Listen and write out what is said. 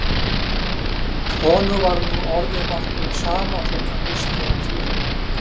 Honum var nú orðið nokkuð sama þótt hann missti af flutningunum.